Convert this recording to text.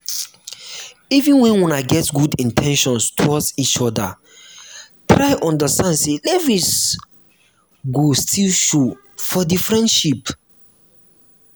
even when una get good in ten tions towards each oda try understand sey levels go still show for di friendship